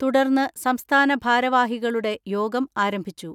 തുടർന്ന് സംസ്ഥാന ഭാരവാഹികളുടെ യോഗം ആരംഭിച്ചു.